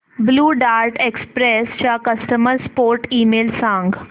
blue Dart Express चा customer support email सांग